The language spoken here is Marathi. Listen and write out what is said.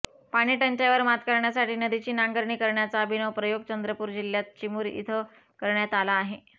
पाणीटंचाईवर मात करण्यासाठी नदीची नांगरणी करण्याचा अभिनव प्रयोग चंद्रपूर जिल्ह्यात चिमूर इथं करण्यात आला आहे